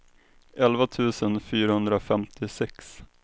elva tusen fyrahundrafemtiosex